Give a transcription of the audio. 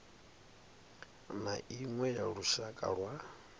na iṅwe ya lushaka lwa